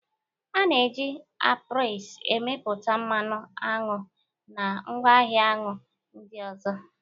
A na-eji apiaries emepụta mmanụ aṅụ na ngwaahịa aṅụ ndị ọzọ.